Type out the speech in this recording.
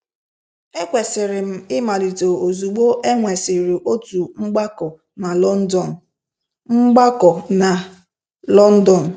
Ekwesịrị m ịmalite ozugbo e nwesịrị otu mgbakọ na London. mgbakọ na London.